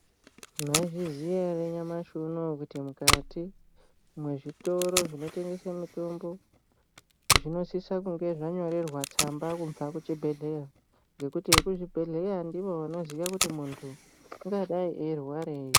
Maizviziya ere kuti nyamashi unouwu kuti mukati mezvitoro zvinotengesa mutombo zvinosisa kunge zvanyorerwa tsamba kubva kuzvibhehlera ngekuti vekubhehleya ndovanoziva kuti mundu ungadai eirwarei